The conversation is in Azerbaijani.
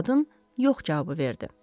Qadın yox cavabı verdi.